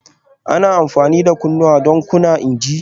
Ana amfani da kunnawa don kunna injin